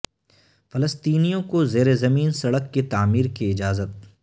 فلسطینیوں کو زیر زمین سڑک کی تعمیر کی اجازت